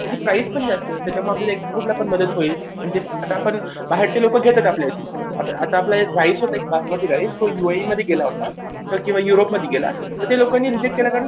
त्याची प्राईस पण जास्त होते त्याच्यामुळे आपल्याला एक्स्पोर्टला पण मदत होईल आणि ते आपण बाहेरचे लोकं घेतात आता आपला एक राईस होता बासमती राईस तो युएईमध्ये गेला होता किंवा युरोपमध्ये गेले तर ते लोकांनी केला कारण